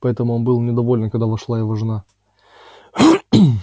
поэтому он был недоволен когда вошла его жена